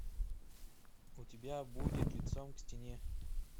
у тебя будет лицом к стене